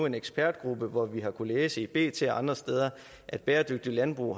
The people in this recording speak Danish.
en ekspertgruppe og vi har kunnet læse i bt og andre steder at bæredygtigt landbrug